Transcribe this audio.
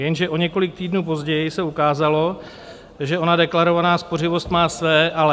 Jenže o několik týdnů později se ukázalo, že ona deklarovaná spořivost má své ale.